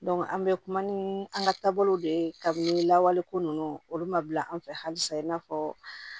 an bɛ kuma ni an ka taabolow de ye kabini lawale ko ninnu olu ma bila an fɛ halisa i n'a fɔ